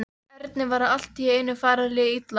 Erni var allt í einu farið að líða illa.